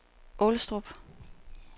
Aalestrup